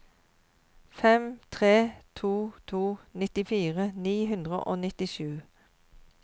fem tre to to nittifire ni hundre og nittisju